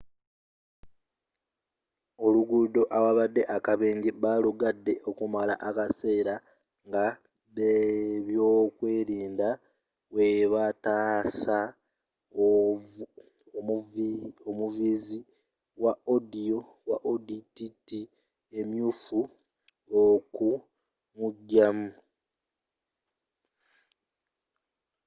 oluguudo awaabadde akabenje baalugadde okumala akaseera ng'abebyokwerinda webataasa omuvuzi wa audi tt emyuufu okumujamu